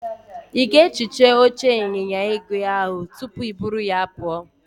Ị ga-ehicha oche ịnyịnya igwe ahụ tupu i buru ya pụọ?